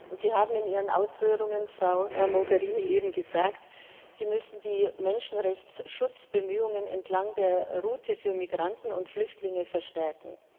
Frau Mogherini, Sie haben in Ihren Ausführungen eben gesagt, Sie müssen die Menschenrechtsschutzbemühungen entlang der Route für Migranten und Flüchtlinge verstärken.